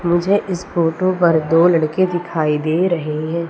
मुझे इस फोटो पर दो लड़के दिखाई दे रहें हैं।